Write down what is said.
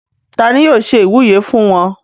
ta ni yóò ṣe ìwúyè fún wọn?